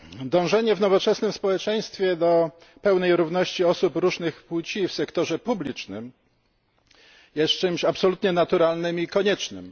Dążenie w nowoczesnym społeczeństwie do pełnej równości osób różnych płci w sektorze publicznym jest czymś absolutnie naturalnym i koniecznym.